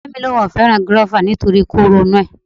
Ọ̀rẹ́ mi ni òun ò fẹ́ràn gúrófà nítorí kóró inú rẹ̀